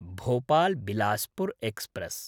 भोपाल्–बिलासपुर् express